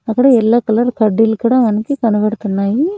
అక్కడ yellow colour కడ్డీలు కూడా మనకి కనబడుతున్నాయి.